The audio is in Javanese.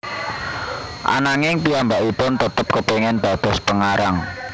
Ananging piyambakipun tetep kepengin dados pengarang